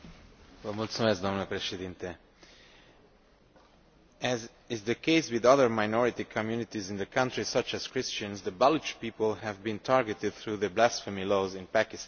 Mr President, as is the case with other minority communities in the country, such as Christians, the Baloch people have been targeted through the blasphemy laws in Pakistan.